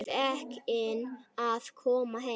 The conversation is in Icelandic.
Feginn að koma heim.